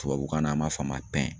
Tubabukan na an b'a fɔ a ma